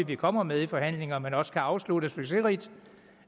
vi kommer med i forhandlinger men også afsluttes succesrigt